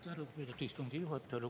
Aitäh, lugupeetud istungi juhataja!